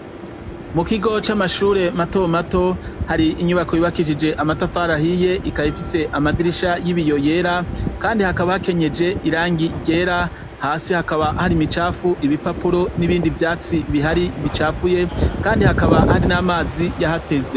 Mukigo c’amashuri mato mato , hari inyubako yubakishijwe amatafari ahiye, ikaba ifise amadirisha y’ibiyo yera, Kandi hakaba hakenyeje irangi ryera, hasi hakaba hari imicafuye, ibipapuro, n’ibindi vyatsi Bihari bicafuye Kandi hakaba hari n’amazi yahateze.